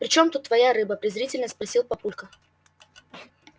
причём тут твоя рыба презрительно спросил папулька